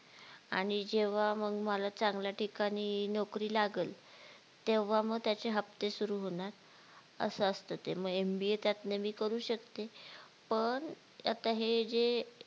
आणि जेव्हा मग मला चांगल्या ठिकाणी नोकरी लागल तेव्हा मग त्याचे हाप्ते सुरु होणार असं असते ते मग MBA त्यातले मी करू शकते पण आता हे जे